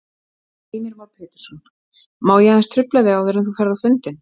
Heimir Már Pétursson: Má ég aðeins trufla þig áður en þú ferð á fundinn?